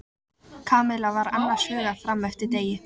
Kamilla var annars hugar fram eftir degi.